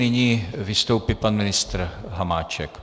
Nyní vystoupí pan ministr Hamáček.